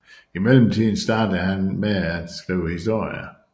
I mellemtiden startede han med at skrive historier